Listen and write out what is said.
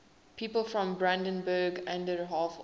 people from brandenburg an der havel